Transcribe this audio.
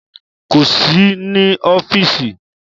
Kò sí ní ọ́fíìsì